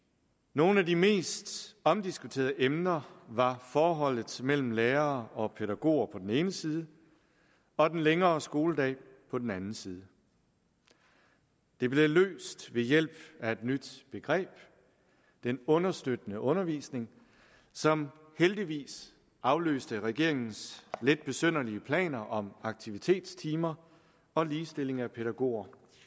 nogle af de mest omdiskuterede emner var forholdet mellem lærere og pædagoger på den ene side og den længere skoledag på den anden side det blev løst ved hjælp af et nyt begreb den understøttende undervisning som heldigvis afløste regeringens lidt besynderlige planer om aktivitetstimer og ligestilling af pædagoger